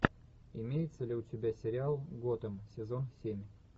имеется ли у тебя сериал готэм сезон семь